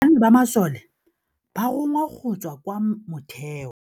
ba masole ba rongwa go tswa kwa mothêô.